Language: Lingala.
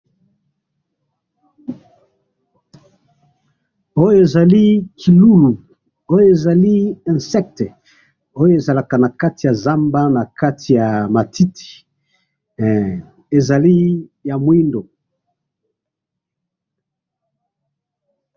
oyo ezali kilulu oyo ezali insecte oyo ezalaka na kati ya nzamba nakati ya matiti ezali ya mwindu